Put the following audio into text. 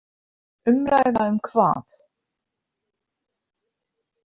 Umræða um hvað?